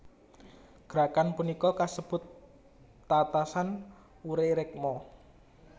Gerakan punika kasebut tatasan ure rekmo